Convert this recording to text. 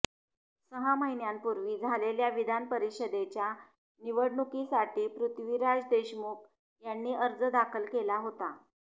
सहा महिन्यापूर्वी झालेल्या विधान परिषदेच्या निवडणुकीसाठी पृथ्वीराज देशमुख यांनी अर्ज दाखल केला होता